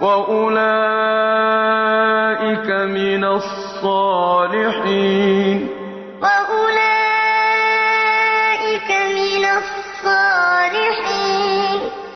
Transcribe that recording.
وَأُولَٰئِكَ مِنَ الصَّالِحِينَ يُؤْمِنُونَ بِاللَّهِ وَالْيَوْمِ الْآخِرِ وَيَأْمُرُونَ بِالْمَعْرُوفِ وَيَنْهَوْنَ عَنِ الْمُنكَرِ وَيُسَارِعُونَ فِي الْخَيْرَاتِ وَأُولَٰئِكَ مِنَ الصَّالِحِينَ